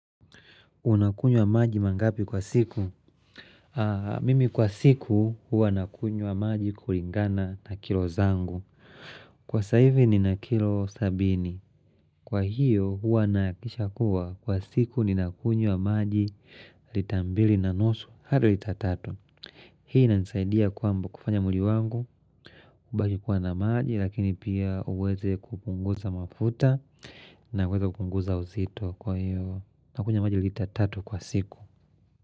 Unakunywa maji mangapi kwa siku? Mimi kwa siku huwa nakunywa maji kulingana na kilo zangu. Kwa sasa hivi nina kilo sabini. Kwa hiyo huwa nahakikisha kuwa kwa siku ni nakunywa maji lita mbili na nusu hadi lita tatu. Hii inanisaidia kwamba kufanya mwili wangu. Kukubali kuwa na maji lakini pia uweze kupunguza mafuta na uweze kupunguza uzito. Kwa iyo na kunywa maji lita tatu kwa siku.